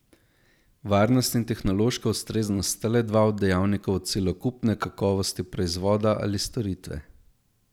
Varnost in tehnološka ustreznost sta le dva od dejavnikov celokupne kakovosti proizvoda ali storitve.